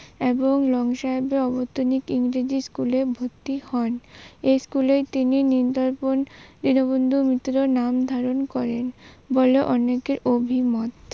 এবং লং সাহেবের ইংরেজি স্কুলে ভর্তি হন। এ স্কুলে তিনি নীল দর্পন নীলবন্ধু মিত্র নাম ধারণ করেন বলে অনেকে অভিমত